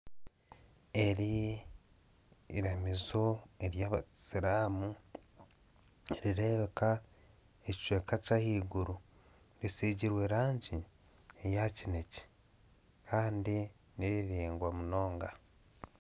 Eri eiramizo ry'abasiramu, nirireebeka ekicweka ky'ahaiguru, risigirwe rangi eya kinekye, kandi ni riraingwa munonga.